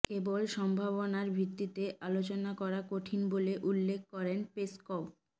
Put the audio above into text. কেবল সম্ভাবনার ভিত্তিতে আলোচনা করা কঠিন বলে উল্লেখ করেন পেসকভ